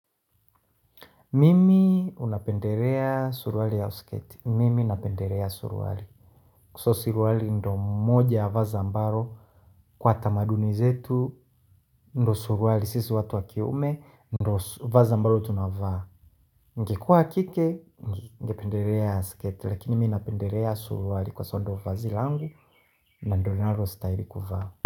Mimi huwa napendelea surwali au sketi? Mimi napendelea surwali. So suruali ndio moja ya vazi ambalo. Kwa tamaduni zetu, ndio suruali. Sisi watu wa kiume, ndio vazi ambalo tunavaa. Ningekua kike, ningependelea sketi. Lakini mi napendelea suruali kwa sababu ndio vazi langu. Na ndio ninalo stahili kuvaa.